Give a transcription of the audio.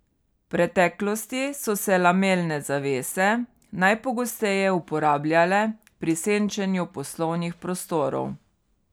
V preteklosti so se lamelne zavese najpogosteje uporabljale pri senčenju poslovnih prostorov.